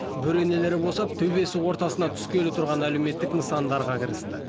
бөренелері босап төбесі ортасына түскелі тұрған әлеуметтік нысандарға кірісті